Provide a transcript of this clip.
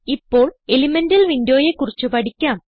ഇപ്പോൾ എലിമെന്റൽ windowയെ കുറിച്ച് പഠിക്കാം